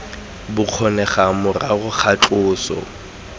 bo kgonegang morago ga tloso